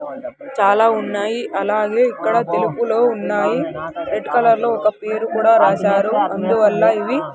చాలా ఉన్నాయి అలాగే ఇక్కడ తెలుపులో ఉన్నాయి రెడ్ కలర్ లో ఒక పేరు కూడా రాశారు అందువల్ల ఇవి.